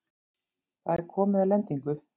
Það er komið að lendingu.